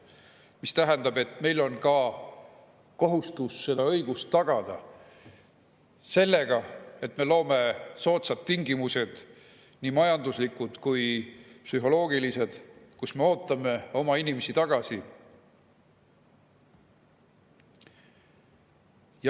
See tähendab, et meil on kohustus tagada see õigus sellega, et me loome selleks soodsad tingimused, nii majanduslikud kui psühholoogilised, me ootame oma inimesi tagasi.